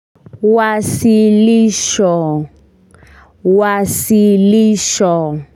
Wasilisho wasilisho.